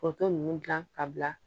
Foronto ninnu dilan ka bila